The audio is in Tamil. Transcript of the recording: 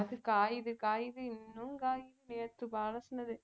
அது காயுது காயுது இன்னும் காயுது நேத்து அலசனது